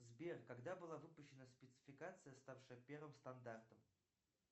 сбер когда была выпущена спецификация ставшая первым стандартом